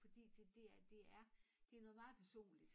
Fordi det det er det er det noget meget personligt